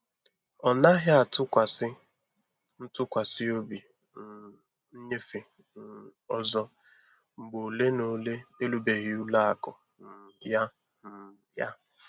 Ọ naghị atụkwasị ntụkwasị obi um nyefe um ọzọ mgbe ole na ole erubeghị ụlọ akụ um ya. um ya.